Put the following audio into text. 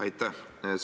Aitäh!